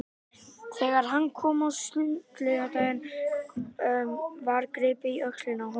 Þegar hann kom að sundlauginni var gripið í öxlina á honum.